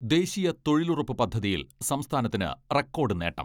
ദേശീയ തൊഴിലുറപ്പ് പദ്ധതിയിൽ സംസ്ഥാനത്തിന് റെക്കോഡ് നേട്ടം.